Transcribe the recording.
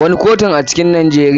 Wane kotun a cikin Nijeriya.